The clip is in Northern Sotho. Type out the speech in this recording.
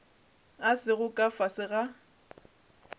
a sego ka fase ga